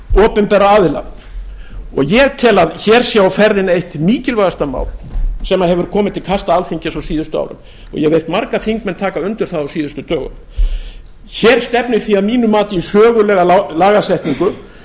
opinberra aðila ég tel að hér sé á ferðinni eitt mikilvægasta mál sem hefur komið til kasta alþingis á síðustu árum og ég hef heyrt marga þingmenn taka undir það á síðustu dögum hér stefnir því að mínu mati í sögulega lagasetningu